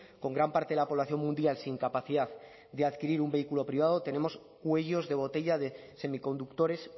con gran parte de la población mundial sin capacidad de adquirir un vehículo privado tenemos cuellos de botella de semiconductores